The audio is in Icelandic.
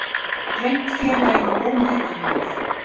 Hann hefur reynt félaginu ómetanlegur